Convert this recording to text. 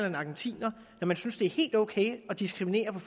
en argentiner når man synes det er helt ok at diskriminere på